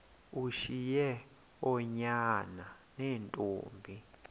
ushiye oonyana neentombi